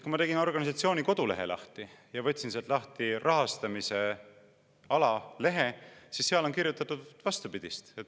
Kui ma tegin organisatsiooni kodulehe lahti ja võtsin sealt lahti rahastamise alalehe, siis seal on kirjutatud vastupidist.